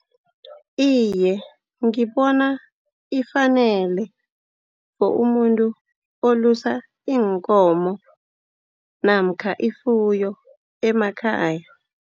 Iye, ngibona ifanele for umuntu olusa iinkomo namkha ifuyo emakhaya.